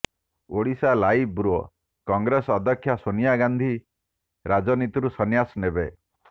Odisha live bureau Congress ଅଧ୍ୟକ୍ଷା ସୋନିଆ ଗାନ୍ଧି ରାଜନୀତିରୁ ସନ୍ନ୍ୟାସ ନେବେ